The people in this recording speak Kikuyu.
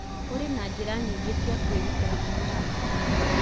Kũrĩ na njĩra nyingĩ cia kwĩgitĩra kuumana na korera